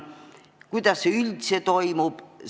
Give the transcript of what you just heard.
Kuidas see üldse toimub?